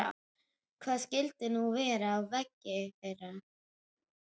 Hvað skyldi nú verða á vegi þeirra?